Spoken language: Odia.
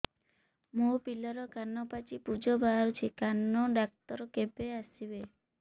ମୋ ପିଲାର କାନ ପାଚି ପୂଜ ବାହାରୁଚି କାନ ଡକ୍ଟର କେବେ ଆସିବେ